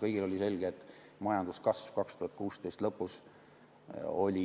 Kõigile oli selge, et majanduskasv 2016. aasta lõpus oli